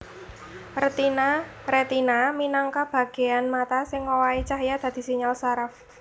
Retina minangka bagéan mata sing ngowahi cahya dadi sinyal syaraf